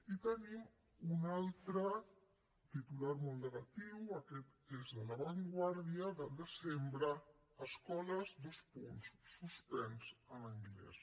i tenim un altre titular molt negatiu aquest és de la vanguardia del desembre escoles suspens en anglès